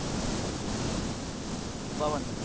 বাবার নামেই।